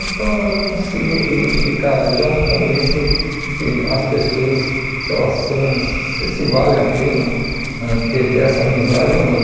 Então eu consigo identificar já no começo que as pessoas, se elas são se se valem a pena ãh ter ter essa amizade ou não.